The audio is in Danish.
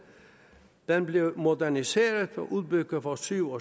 den blev moderniseret og udbygget for syv